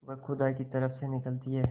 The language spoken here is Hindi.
वह खुदा की तरफ से निकलती है